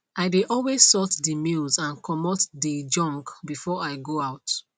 i dey always sort de mails and commote de junk before i go out